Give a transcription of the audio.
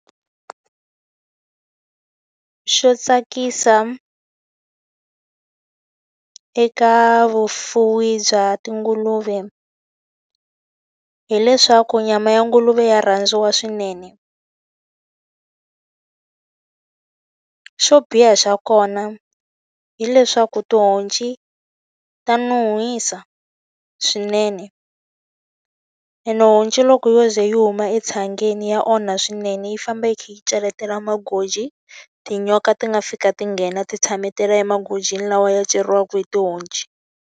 Xo tsakisa eka vufuwi bya tinguluve hileswaku nyama ya nguluve ya rhandziwa swinene. Xo biha xa kona hileswaku tihonci ta nuhisa swinene. Ene honci loko yo ze yi huma etshangeni ya onha swinene, yi famba yi kha yi cheletela magoji, tinyoka ti nga fika ti nghena ti tshametela emagojini lawa ya ceriwaka hi tihonci.